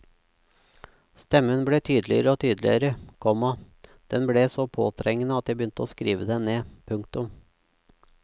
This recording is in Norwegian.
Stemmen ble tydeligere og tydeligere, komma den ble så påtrengende at jeg begynte å skrive den ned. punktum